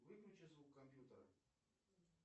выключи звук компьютера